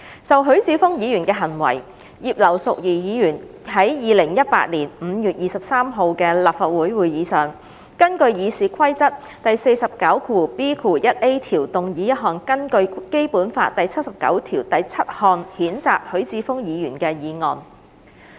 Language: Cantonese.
就許智峯議員的行為，葉劉淑儀議員於2018年5月23日的立法會會議上，根據《議事規則》第 49B 條動議一項根據《基本法》第七十九條第七項譴責許智峯議員的議案。